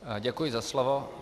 Děkuji za slovo.